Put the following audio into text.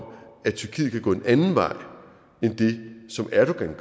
at tyrkiet kan gå en anden vej end den som erdogan